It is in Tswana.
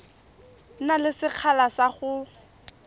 na le sekgala sa go